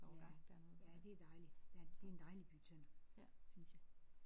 Ja ja det er dejligt der det er en dejlig by Tønder synes jeg